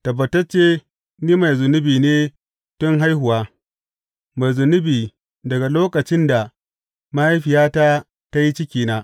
Tabbatacce ni mai zunubi ne tun haihuwa mai zunubi daga lokacin da mahaifiyata ta yi cikina.